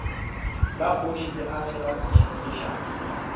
la kgoši le agelwa lešaka